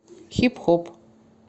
хип хоп